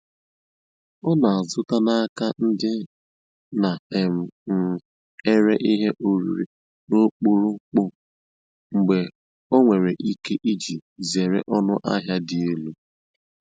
Ọ na-azụta n'aka ndị na um - um ere ihe oriri n'ọkpụrụkpụ mgbe o nwere ike, iji zere ọnụ ahịa dị elu.